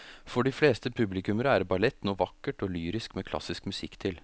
For de fleste publikummere er ballett noe vakkert og lyrisk med klassisk musikk til.